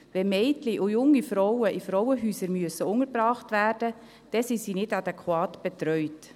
Wenn Mädchen und junge Frauen in Frauenhäusern untergebracht werden müssen, dann sind sie nicht adäquat betreut.